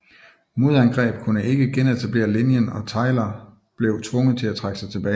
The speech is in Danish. Modangreb kunne ikke genetablere linjen og Tyler blev tvunget til at trække sig tilbage